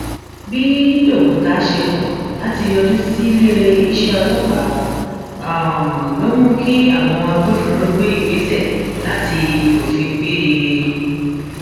bí doguta ṣe kọ láti yọjú sílé iṣẹ ọlọpàá ló mú kí àwọn agbófinró gbé ìgbésẹ láti fòfin gbé e